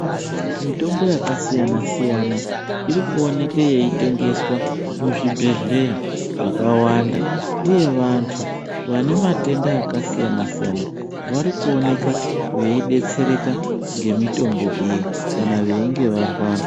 Mitombo yakasiyana-siyana, iri kuoneke yeingeswa muzvibhedhleya zvakawanda, uye vantu vane matenda akasiyana-siyana vari kuoneka veidetsereka, ngemitombo iyi kana veinge varwara.